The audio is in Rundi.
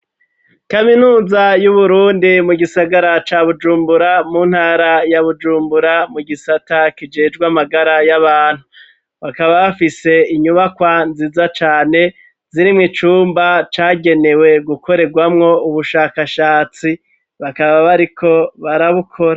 Kaminuza yu Burundi mu gisagara ca Bujumbura mu ntara ya Bujumbura mu gisata kijejwe amagara y'abantu, bakaba bafise inyubakwa nziza cane zirimwo icumba cagenewe gukorerwamwo ubushakashatsi, bakaba bariko barabukora.